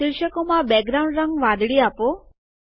શિર્ષકોમાં background રંગ વાદળી આપો